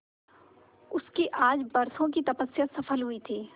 उसकी आज बरसों की तपस्या सफल हुई थी